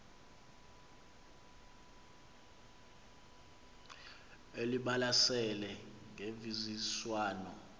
elibalasele ngemvisiswano r